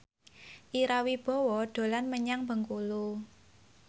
Ira Wibowo dolan menyang Bengkulu